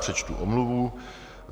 Přečtu omluvu.